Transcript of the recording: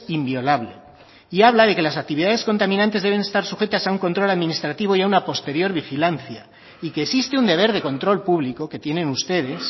inviolable y habla de que las actividades contaminantes deben estar sujetas a un control administrativo y a una posterior vigilancia y que existe un deber de control público que tienen ustedes